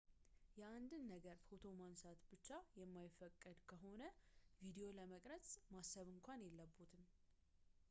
የአንድን ነገር ፎቶ ማንሳት ብቻ የማይፈቀድ ከሆነ ቪዲዮ ለመቅረጽ ማሰብ እንኳን የለብዎትም